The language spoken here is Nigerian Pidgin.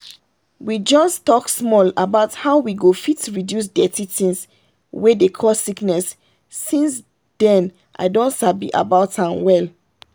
we just talk small about how we go fit reduce dirty things wey dey cause sickness since then i don sabi about an well.